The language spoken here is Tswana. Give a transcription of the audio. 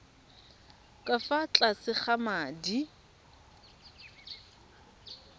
ka fa tlase ga madi